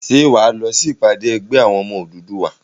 Ṣé wà á lọ sí ìpàdé ẹgbẹ́ àwọn ọmọ Odùduwà?